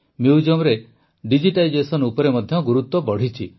ମ୍ୟୁଜିୟମର digitisation ଉପରେ ମଧ୍ୟ ଗୁରୁତ୍ୱ ବଢ଼ିଛି